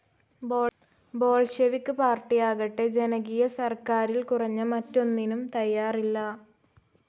Bolshevik പാർട്ടിയാവട്ടെ ജനകീയ സർക്കാരിൽ കുറഞ്ഞ മറ്റൊന്നിനും തയ്യാറില്ല.